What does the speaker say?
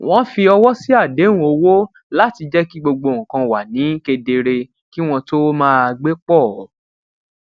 wọn fi ọwọ sí àdéhùn owó láti jẹ kí gbogbo nǹkan wà ni kedere kí wọn tó máa gbé pọ